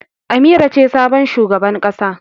Amira ce sabon shugaban ƙasa.